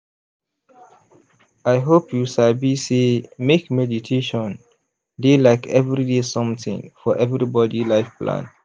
i hope you sabi sey make meditation dey like everyday something for everybody life plan.